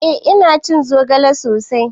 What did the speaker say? Eh ina cin zogale sosai.